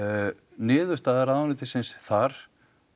niðurstaða ráðuneytisins þar